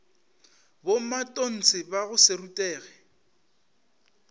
bomatontshe ba go se rutege